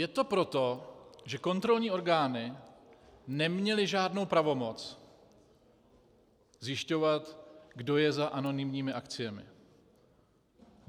Je to proto, že kontrolní orgány neměly žádnou pravomoc zjišťovat, kdo je za anonymními akciemi.